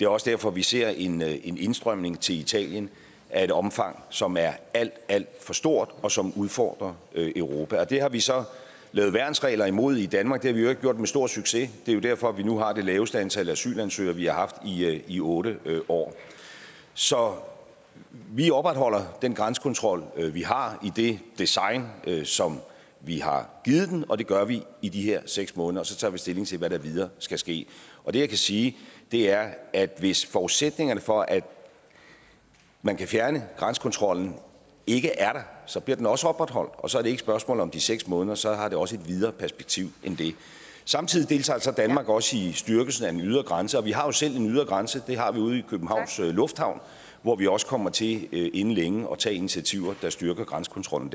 også derfor vi ser en en indstrømning til italien af et omfang som er alt alt for stort og som udfordrer europa det har vi så lavet værnsregler imod i danmark det har vi i øvrigt gjort med stor succes det er jo derfor vi nu har det laveste antal asylansøgere vi har haft i otte år så vi opretholder den grænsekontrol vi har i det design som vi har givet den og det gør vi i de her seks måneder og så tager vi stilling til hvad der videre skal ske det jeg kan sige er at hvis forudsætningerne for at man kan fjerne grænsekontrollen ikke er der så bliver den også opretholdt og så er det ikke et spørgsmål om de seks måneder så har det også et videre perspektiv end det samtidig deltager danmark også i styrkelsen af den ydre grænse og vi har jo selv en ydre grænse det har vi ude i københavns lufthavn hvor vi også kommer til inden længe at tage initiativer der styrker grænsekontrollen